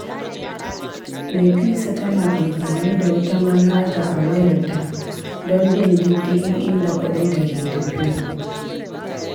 Nafisa tana amfani da wata manhaja a wayarta don bin diddigin inda kudinta ke tafiya.